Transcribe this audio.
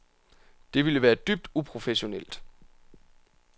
Det ville være dybt uprofessionelt.